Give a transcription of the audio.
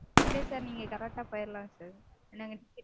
இல்ல sir நீங்க correct -ஆ போயிரலாம் sir